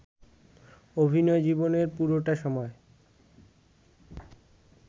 অভিনয় জীবনের পুরোটা সময়